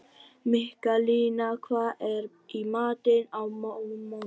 Mikkalína, hvað er í matinn á mánudaginn?